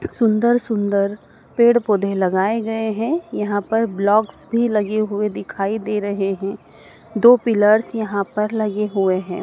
सुंदर सुंदर पेड़ पौधे लगाए गए हैं यहां पर ब्लॉक्स भी लगे हुए दिखाई दे रहे हैं दो पिलर्स यहां पर लगे हुए हैं।